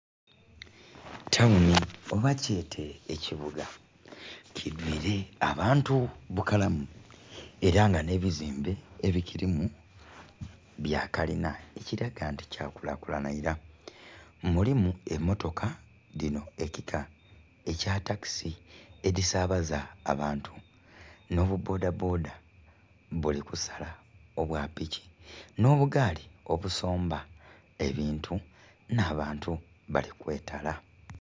Tawuni oba kyete ekibuga kidwiile abantu bukalamu ela nga nh'ebizimbe ebikilimu bya kalina ekilaga nti kyakulakulana ila. Mulimu emmotoka dhino ekika ekya takisi edhisabaza abantu nho bu bboda bboda buli kusala obwa piki, nh'obugaali obusomba ebintu, nh'abantu bali kwetala.